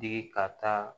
Digi ka taa